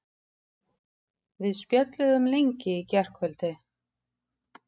Við spjölluðum lengi í gærkvöldi.